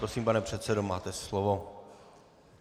Prosím, pane předsedo, máte slovo.